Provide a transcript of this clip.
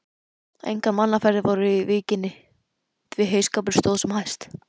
Engar mannaferðir voru í víkinni, því heyskapur stóð sem hæst.